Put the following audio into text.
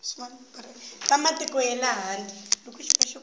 va matiko ya le handle